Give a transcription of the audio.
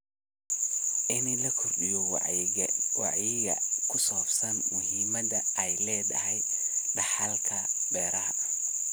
In la kordhiyo wacyiga ku saabsan muhiimadda ay leedahay dhaxalka beeraha.